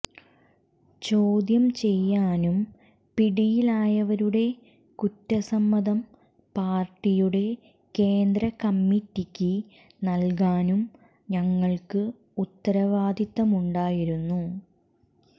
ചോദ്യം ചെയ്യാനും പിടിയിലായവരുടെ കുറ്റസമ്മതം പാർട്ടിയുടെ കേന്ദ്രകമ്മിറ്റിക്ക് നൽകാനും ഞങ്ങൾക്ക് ഉത്തരവാദിത്തമുണ്ടായിരുന്നു